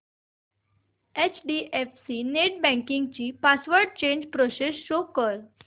HDFC netbanking ची password change process show कर